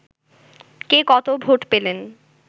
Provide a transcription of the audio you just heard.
কে কত ভোট পেলেন